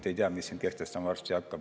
Ei tea, mis siin kehtestama varsti hakkab.